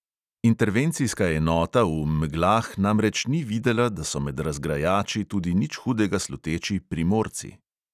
Intervencijska enota v meglah namreč ni videla, da so med razgrajači tudi nič hudega sluteči primorci.